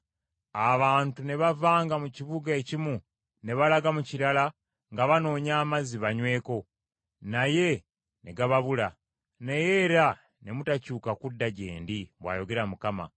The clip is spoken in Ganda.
Abantu ne bavanga mu kibuga ekimu ne balaga mu kirala nga banoonya amazzi banyweko, naye ne gababula; naye era ne mutakyuka kudda gye ndi,” bw’ayogera Mukama .